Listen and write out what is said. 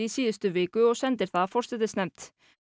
síðustu viku og sendi það forsætisnefnd